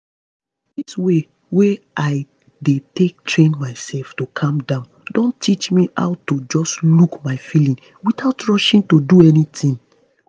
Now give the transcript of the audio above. this way wey i dey take train myself to calm down don teach me how to just look my feelings without rushing do anything